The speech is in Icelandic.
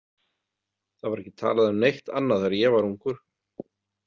Það var ekki talað um neitt annað þegar ég var ungur.